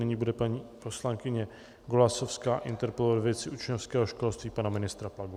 Nyní bude paní poslankyně Golasowská interpelovat ve věci učňovského školství pana ministra Plagu.